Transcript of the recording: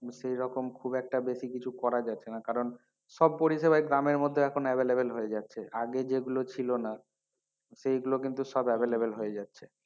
সেই রকম খুব একটা বেশি কিছু করা যাচ্ছেনা কারন সব পরিষেবায় গ্রামের মধ্যে এখন available হয়ে যাচ্ছে আগে যেগুলো ছিল না সেগুলো কিন্তু সব available হয়ে যাচ্ছে।